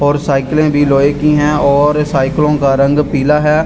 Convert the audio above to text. और साइकिलें भी लोहे की हैं और साइकिलों का रंग पीला है।